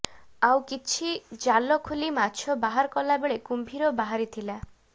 ଆଉ କିଛି ଜାଲ ଖୋଲି ମାଛ ବାହାର କଲା ବେଳେ କୁମ୍ଭୀର ବାହାରିଥିଲା